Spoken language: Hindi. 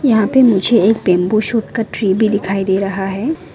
यहां पे मुझे एक बंबू शूट का ट्रे भी दिखाई दे रहा है।